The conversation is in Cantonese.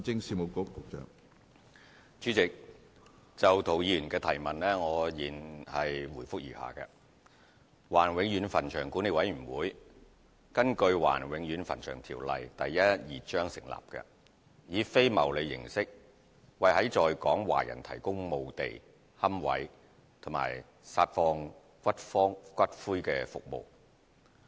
主席，就涂議員的質詢，現答覆如下：華人永遠墳場管理委員會根據《華人永遠墳場條例》成立，以非牟利形式為在港華人提供墓地、龕位及撒放骨灰服務。